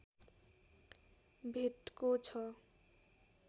भेटको छ